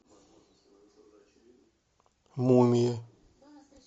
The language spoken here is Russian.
мумия